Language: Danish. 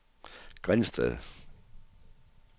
Grindsted